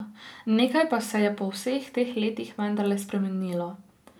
Nekaj pa se je po vseh teh letih vendarle spremenilo.